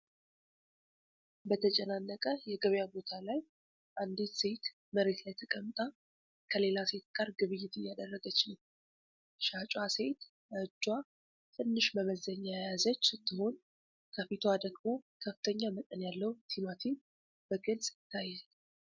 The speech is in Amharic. በተጨናነቀ የገበያ ቦታ ላይ አንዲት ሴት መሬት ላይ ተቀምጣ ከሌላ ሴት ጋር ግብይት እያደረገች ነው። ሻጯ ሴት በእጇ ትንሽ መመዘኛ የያዘች ስትሆን፤ ከፊቷ ደግሞ ከፍተኛ መጠን ያለው ቲማቲም በግልጽ ይታያል።